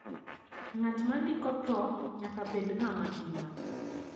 ngat ma ndiko tho nyaka bed nga ma ngima